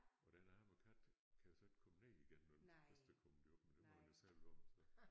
Og den arme kat kan jo så ikke komme ned igen nåh den først er kommet derop men det må den jo selvom så